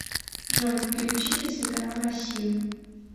джой переключить на телеканал россию